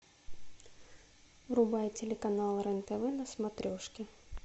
врубай телеканал рен тв на смотрешке